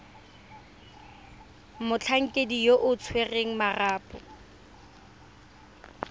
motlhankedi yo o tshwereng marapo